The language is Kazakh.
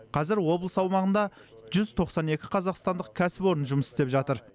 қазір облыс аумағында жүз тоқсан екі қазақстандық кәсіпорын жұмыс істеп жатыр